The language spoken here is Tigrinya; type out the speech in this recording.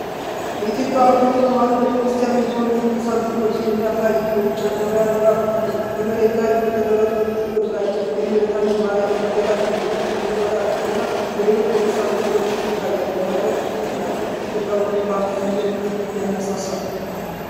የኢትዮጵያ ኦርቶዶክስ ተዋሕዶ ቤተ ክርስቲያን የሆኑ ቅዱሳን ሥዕሎችን የሚያሳይ የውጪ ገበያ ድባብ አለው። በመሬት ላይ በተደረደሩት ሥዕሎች ላይ የእመቤታችን ማርያም፣ የጌታችን ኢየሱስ ክርስቶስ፣ የመላእክት እና የሌሎች ቅዱሳን ምስሎች ይታያሉ። የሀገር ፍቅር እና የኢትዮጵያዊነት ኩራት ስሜትን ያነሳሳል።